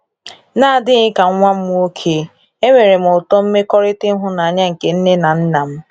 N'adịghị ka nwa m nwoke, enwerem ụtọ mmekọrịta ịhụnanya nke nne na nna m.